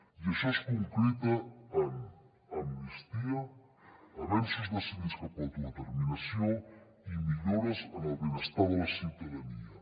i això es concreta en amnistia avenços decidits cap a autodeterminació i millores en el benestar de la ciutadania